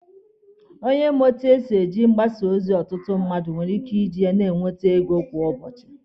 Onye ma etu esi eji mgbasa ozi ọtụtụ mmadụ nwere ike iji ya na-enwete ego kwa ụbọchị.